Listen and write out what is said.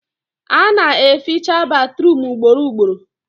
Ana eficha batruum ugboro ugboro